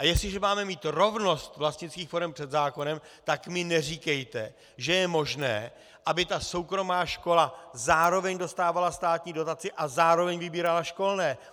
A jestliže máme mít rovnost vlastnických forem před zákonem, tak mi neříkejte, že je možné, aby ta soukromá škola zároveň dostávala státní dotaci a zároveň vybírala školné!